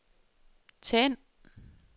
tænd